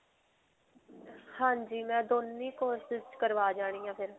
ਹਾਂਜੀ. ਮੈਂ ਦੋਨੋਂ courses 'ਚ ਕਰਵਾ ਜਾਣਿਆਂ ਫਿਰ.